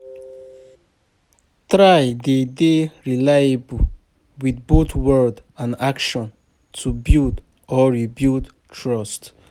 Try de dey reliable with both word and action to build or rebuild trust